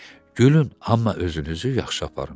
Gülün, amma özünüzü yaxşı aparın.